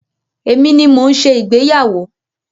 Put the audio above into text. Èmi ni mo ń ṣe ìgbéyàwó.